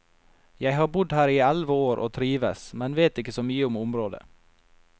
Jeg har bodd her i elleve år og trives, men vet ikke så mye om området.